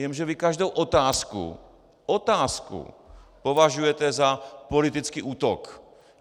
Jenže vy každou otázku - otázku! - považujete za politický útok.